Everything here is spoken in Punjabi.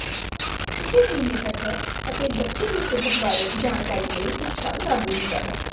ਉਸੇ ਹੀ ਮਿਹਰ ਹੈ ਅਤੇ ਬੱਚੇ ਦੀ ਸਿਹਤ ਬਾਰੇ ਜਾਣਕਾਰੀ ਲਈ ਇੱਛਾ ਲਾਗੂ ਹੁੰਦਾ ਹੈ